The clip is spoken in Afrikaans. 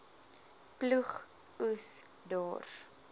ploeg oes dors